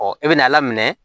i bɛna ala minɛ